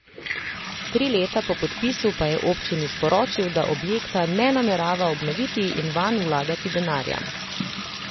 Tri leta po podpisu pa je občini sporočil, da objekta ne namerava obnoviti in vanj vlagati denarja.